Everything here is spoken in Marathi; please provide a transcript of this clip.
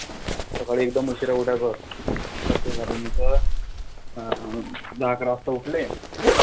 सकाळी एकदम उशीरा ऊठायचं नंतर ते झाल्यानंतर अं दहा अकरा वाजता ऊठले,